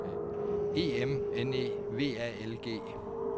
E M N E V A L G